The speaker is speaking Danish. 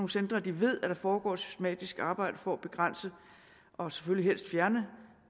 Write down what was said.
centre at de ved at der foregår et systematisk arbejde for at begrænse og selvfølgelig helst fjerne